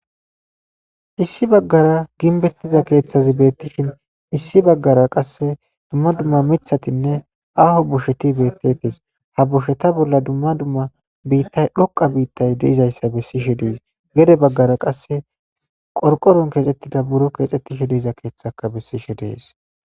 issi baggara ginbettiza keeththazi beettishin issi baggara qasse dumma dumma mithatinne aaho bosheti bettetes ha bosheta bolla dumma dumma biittay dhoqa biittay deizayssa bessishe dees gede baggara qasse qorqoron keexettida buro keexettishe deiza keeththaka bessishe dees